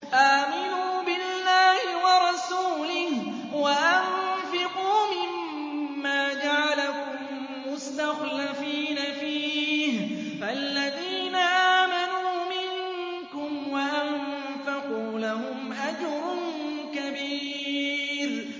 آمِنُوا بِاللَّهِ وَرَسُولِهِ وَأَنفِقُوا مِمَّا جَعَلَكُم مُّسْتَخْلَفِينَ فِيهِ ۖ فَالَّذِينَ آمَنُوا مِنكُمْ وَأَنفَقُوا لَهُمْ أَجْرٌ كَبِيرٌ